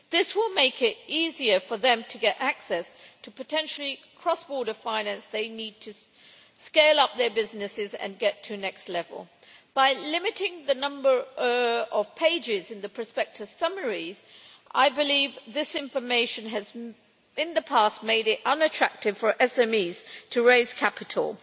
This will make it easier for them to get access to potential cross border finance in order to scale up their businesses and get to the next level. By limiting the number of pages in the prospectus summaries, I believe this information has, in the past, made it unattractive for SMEs to raise capital.